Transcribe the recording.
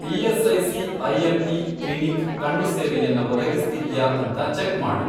ESIC. IMP. Clinic ಕಣ್ಣು ಸೇವೆಯನ್ನ ಒದಗಿಸ್ತಿದ್ಯಾ ಅಂತ ಚೆಕ್ ಮಾಡು.